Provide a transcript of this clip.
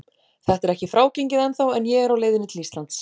Þetta er ekki frágengið ennþá en ég er á leiðinni til Íslands.